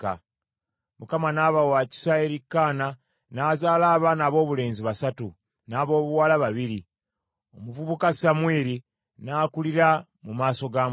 Mukama n’aba wa kisa eri Kaana, n’azaala abaana aboobulenzi basatu, n’aboobuwala babiri. Omuvubuka Samwiri n’akulira mu maaso ga Mukama .